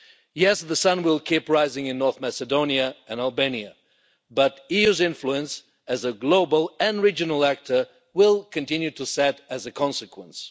Yes, the sun will keep rising in North Macedonia and Albania, but the EU's influence as a global and regional actor will continue to set as a consequence.